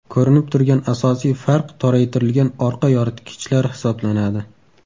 Ko‘rinib turgan asosiy farq toraytirilgan orqa yoritgichlar hisoblanadi.